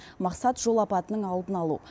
мақсат жол апатының алдын алу